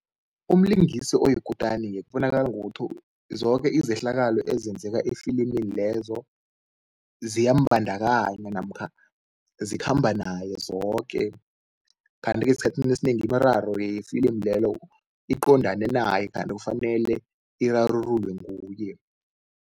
Umlingisi oyikutani-ke kubonakala ngokuthi zoke izehlakalo ezenzeka efilimini lezo ziyambandakanya namkha zikhamba naye zoke. Kanti-ke esikhathini esinengi imiraro yefilimu lelo iqondane naye kanti kufanele irarululwe nguye.